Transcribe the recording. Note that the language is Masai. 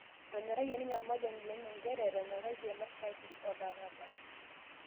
Etonyorayie ninye ormrnrja lenye njere etonyoratie mashati olarabal